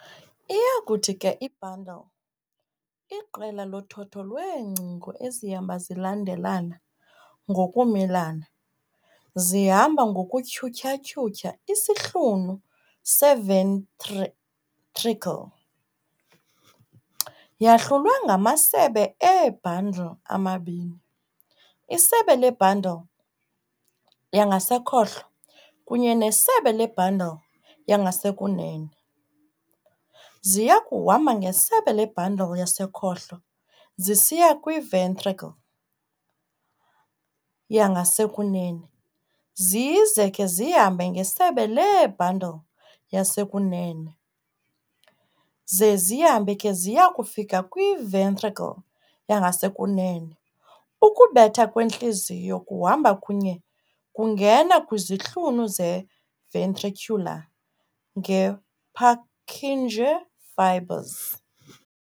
Iyakuthi ke i-bundle, "iqela lothotho lweengcingo ezihamba zilandela ngokumelana.", zihamba ngokutyhuthya-tyhutyha isihlunu se-ventricle, Yahlulwe yangamasebe ee-"bundle amabini, "isebe le-bundle yangasekhohlo kunye nesebe le-bundle yangasekunene. ziyakuhamba ngesebe le-bundle yangasekhohlo zisiya kwi-ventricle yangasekunene zize ke zihambe ngesebe lee-bundle yasekunene ze zihambe ke ziya kufika kwi-ventricle yangasekunene, ukubetha kwentliziyo kuhamba kunye kungena kwizihlunu ze-ventricular nge-Purkinje Fibers.